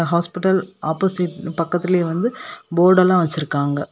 Hospital opposite பக்கத்திலியே வந்து board எல்லா வச்சிருக்காங்க.